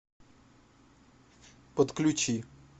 подключи